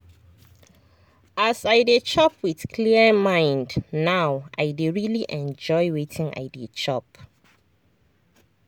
as i dey chop with clear mind now i dey really enjoy wetin i dey chop.